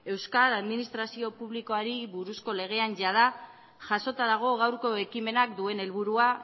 euskal administrazio publikoari buruzko legean jada jasota dago gaurko ekimenak duen helburua